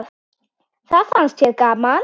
Það fannst þér gaman.